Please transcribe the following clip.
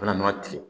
U bɛna nɔnɔ tigɛ